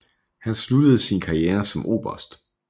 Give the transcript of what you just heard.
Han sluttede sin karriere som oberst